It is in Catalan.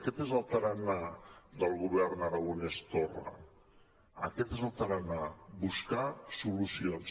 aquest és el tarannà del govern aragonès torra aquest és el tarannà buscar solucions